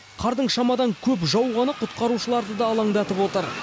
қардың шамадан көп жауғаны құтқарушыларды да алаңдатып отыр